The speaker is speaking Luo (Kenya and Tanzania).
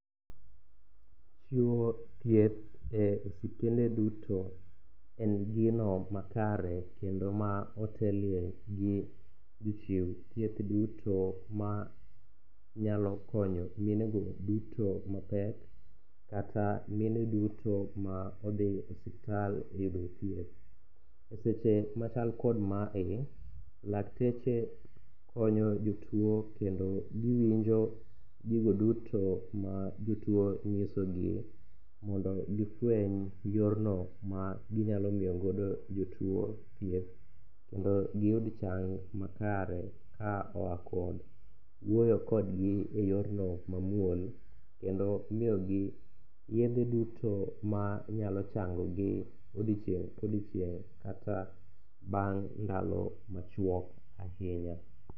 Chiwo thieth e osuptende duto en gino makare kendo ma otelne gi jochiw thieth duto ma nyalo konyo minego duto mapek, kata mine duto ma odhi e suptal yudo thieth. E seche machal kod mae, lakteche konyo jotuwo kendo giwinjo gigo duto ma jotuwo nyisogi mondo gifweny yorno maginyalo miyo godo jotuwo thieth kendo giyud chang makare ka oa kod wuoyo kodgi e yorno mamuol kendo miyogi yedhe duto manyalo changogi odiochieng' kodiochieng' kata bang' ndalo machuok ahinya.